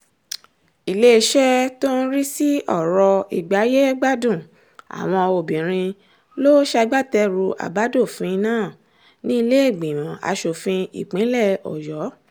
iléeṣẹ́ tó ń rí sí ọ̀rọ̀ ìgbáyé-gbádùn àwọn obìnrin ló ṣagbátẹrù àbádòfin náà nílẹ̀ẹ́gbìmọ asòfin ìpínlẹ̀ ọ̀yọ́